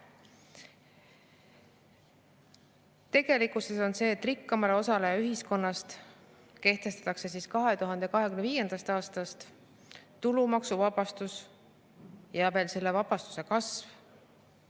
Tegelikkus on see, et rikkamale osale ühiskonnast kehtestatakse 2025. aastast tulumaksuvabastus ja veel selle vabastuse kasv.